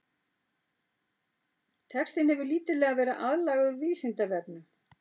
Textinn hefur lítillega verið aðlagaður Vísindavefnum.